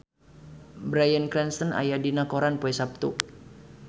Bryan Cranston aya dina koran poe Saptu